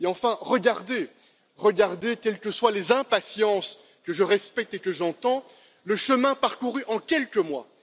Enfin, regardez quelles que soient les impatiences, que je respecte et que j'entends le chemin parcouru en quelques mois.